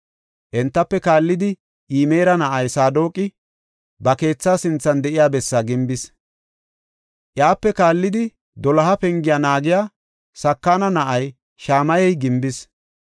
Entafe kaallidi Imera na7ay Saadoqi ba keethaa sinthan de7iya bessaa gimbis. Iyape kaallidi Doloha Pengiya naagiya Sakana na7ay Shamayey gimbis.